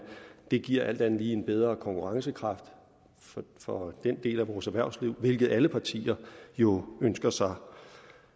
det giver alt andet lige en bedre konkurrencekraft for den del af vores erhvervsliv hvilket alle partier jo ønsker sig